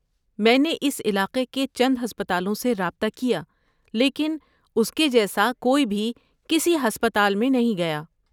میں نے اس علاقے کے چند ہسپتالوں سے رابطہ کیا لیکن اس کے جیسا کوئی بھی کسی ہسپتال میں نہیں گیا۔